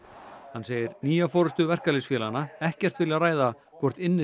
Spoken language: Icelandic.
hann segir nýja forystu verkalýðsfélaganna ekkert vilja ræða hvort